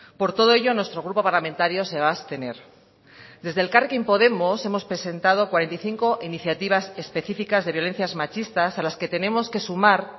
por todo ello nuestro grupo parlamentario se va a abstener desde elkarrekin podemos hemos presentado cuarenta y cinco iniciativas específicas de violencias machistas a las que tenemos que sumar